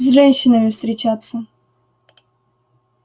с женщинами встречаться